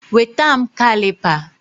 Weta m Kalipa